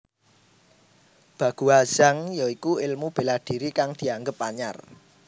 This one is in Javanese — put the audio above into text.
Baguazhang ya iku ilmu bela diri kang dianggep anyar